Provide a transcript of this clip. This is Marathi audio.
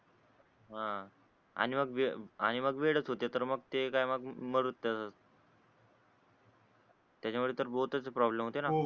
हा आणि मग आणि मग वेडच होते तर मग ते काय मग मरूदे तसच त्याच्यामुळे तर प्रॉब्लेम होते ना